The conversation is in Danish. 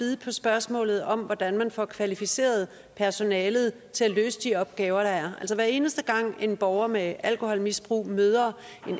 spørgsmålet om hvordan man får kvalificeret personalet til at løse de opgaver der er altså hver eneste gang en borger med alkoholmisbrug møder